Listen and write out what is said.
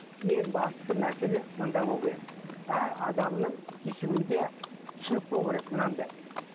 ең басты мәселе мұнда болуы керек әр адамның түйсігінде түсінік болуы керек мынандай